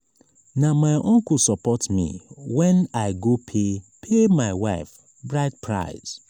na my uncle support me wen i go pay pay my wife bride price.